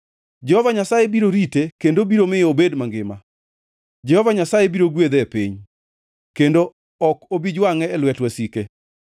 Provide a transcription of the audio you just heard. Jehova Nyasaye biro rite kendo biro miyo obed mangima; Jehova Nyasaye biro gwedhe e piny, kendo ok obi jwangʼe e lwet wasike.